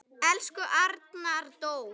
Elsku Arnar Dór.